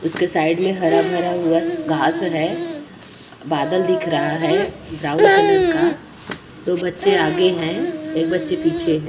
उसके साइड में हरा-भरा घास हैं। बादल दिख रहा है ब्राउन कलर का दो बच्चे आगे हैं एक बच्चे पीछे --